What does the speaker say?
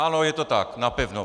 Ano, je to tak, napevno.